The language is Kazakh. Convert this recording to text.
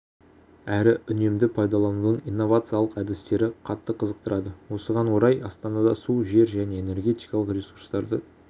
әрі үнемді пайдаланудың инновациялық әдістері қатты қызықтырады осыған орай астанада су жер және энергетикалық ресурстарды